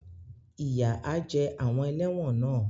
Ìyà á jẹ àwọn ẹlẹ́wọ̀n náà.